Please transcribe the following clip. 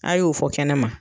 A' y'o fɔ kɛnɛma